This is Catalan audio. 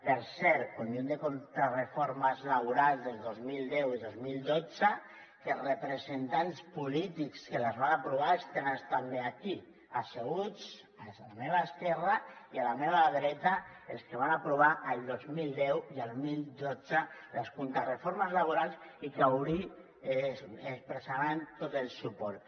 per cert conjunt de contrareformes laborals del dos mil deu i dos mil dotze que representants polítics que les van aprovar els tenen també aquí asseguts a la meva esquerra i a la meva dreta els que van aprovar el dos mil deu i el dos mil dotze les contrareformes laborals i que avui hi expressaran tot el suport